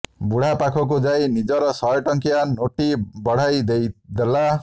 ବୁଢ଼ା ପାଖକୁ ଯାଇ ନିଜର ଶହେ ଟଙ୍କିଆ ନୋଟ୍ଟି ବଢ଼େଇ ଦେଲା